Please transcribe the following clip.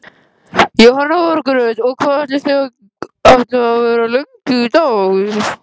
Jóhanna Margrét: Og hvað ætlið þið að vera lengi hérna í dag?